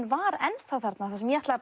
var ennþá þarna þar sem ég ætlaði